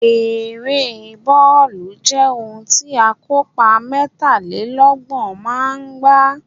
Ere bọọlu jẹ ohun ti akopa mẹtalelọgbọn maa n gba